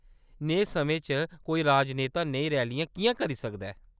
नेहे समें च कोई राजनेता नेही रैली किʼयां करी सकदा ऐ ?